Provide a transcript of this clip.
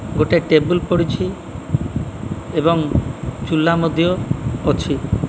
ଗୋଟେ ଟେବୁଲ୍ ପଡ଼ିଛି ଏବଂ ଚୁଲା ମଧ୍ୟ ଅଛି।